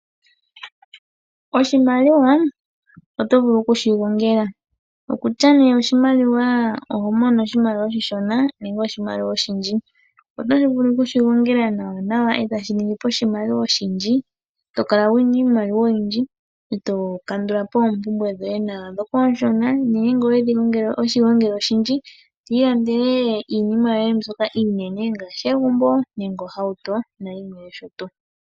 Oshimaliwa oto vulu okushi gongela okutya ne oshimaliwa ne oho mono oshimaliwa oshishona nenge oshimaliwa oshiindji. Otoshivulu okushi gongela nawa nawa ndele tashi nigiipo oshimaliwa oshindji tokala wuna iimaliwa oyindji eto kandulapo oompumbwe dhoye dhoka ooshona ngele owe shi gongele oshindji to ilandele iinima yoye mbyoka iinene to ilandele egumbo nenge ohauto nayimwe noshotuu.